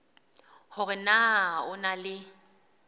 hore na o na le